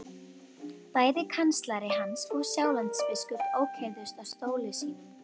Bæði kanslari hans og Sjálandsbiskup ókyrrðust á stólum sínum.